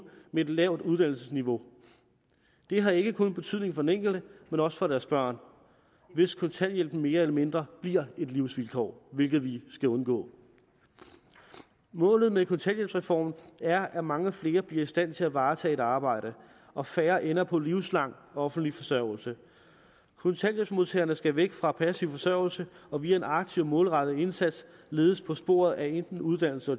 med et lavt uddannelsesniveau det har ikke kun betydning for den enkelte men også for deres børn hvis kontanthjælpen mere eller mindre bliver et livsvilkår hvilket vi skal undgå målet med kontanthjælpsreformen er at mange flere bliver i stand til at varetage et arbejde og færre ender på livslang offentlig forsørgelse kontanthjælpsmodtagerne skal væk fra passiv forsørgelse og via en aktiv målrettet indsats ledes på sporet af enten uddannelse